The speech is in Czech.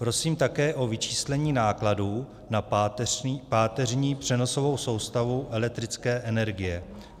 Prosím také o vyčíslení nákladů na páteřní přenosovou soustavu elektrické energie.